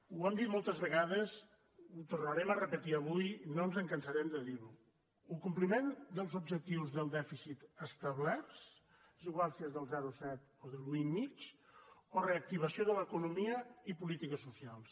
ho hem dit moltes vegades ho tornarem a repetir avui no ens cansarem de dir ho o compliment dels objectius del dèficit establerts és igual si és del zero coma set o de l’un i mig o reactivació de l’economia i polítiques socials